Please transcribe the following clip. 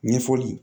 Ɲɛfɔli